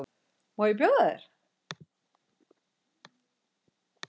Má bjóða þér?